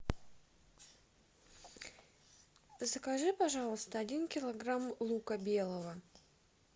закажи пожалуйста один килограмм лука белого